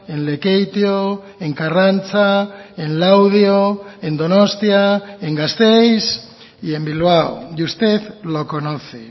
en lekeitio en karrantza en laudio en donostia en gasteiz y en bilbao y usted lo conoce